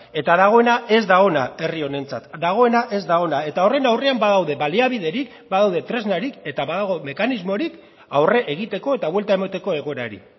eta dagoena ez da ona herri honentzat dagoena ez da ona eta horren aurrean badaude baliabiderik badaude tresnarik eta badago mekanismorik aurre egiteko eta buelta emateko egoerari